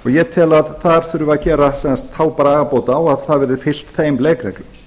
og ég tel að þar þurfi að gera þá bragarbót á að það verði fylgt þeim leikreglum